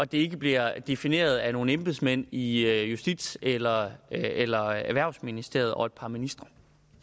det ikke bliver defineret af nogle embedsmænd i justitsministeriet eller erhvervsministeriet og et par ministre